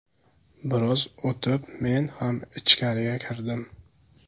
Biroz o‘tib men ham ichkariga kirdim.